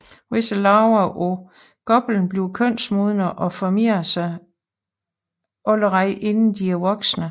Visse larver af goplen bliver kønsmodne og formerer sig allerede inden de er voksne